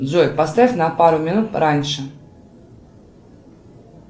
джой поставь на пару минут раньше